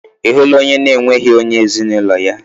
Ị hụla onye na-enweghị onye ezinaụlọ ya?